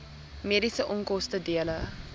mediese onkoste dele